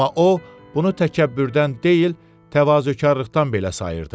Amma o, bunu təkəbbürdən deyil, təvazökarlıqdan belə sayırdı.